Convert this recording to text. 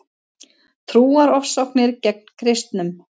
Trúarofsóknir gegn kristnum